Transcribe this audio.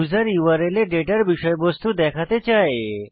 user URL এ ডেটার বিষয়বস্তু দেখাতে চায়